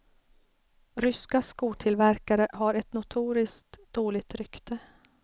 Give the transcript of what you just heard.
Ryska skotillverkare har ett notoriskt dåligt rykte.